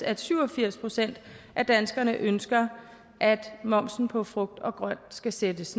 at syv og firs procent af danskerne ønsker at momsen på frugt og grønt skal sættes